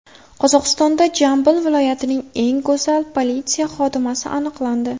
Qozog‘istonda Jambil viloyatining eng go‘zal politsiya xodimasi aniqlandi .